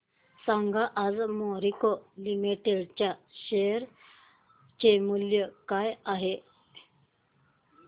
सांगा आज मॅरिको लिमिटेड च्या शेअर चे मूल्य काय आहे